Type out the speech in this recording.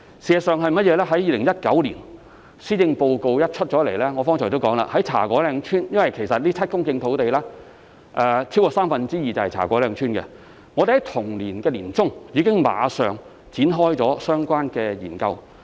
事實上，我剛才也提到，自從2019年施政報告公布後，有關茶果嶺村的項目——其實這7公頃土地中超過三分之二是位於茶果嶺村——我們已馬上於同年年中展開相關研究。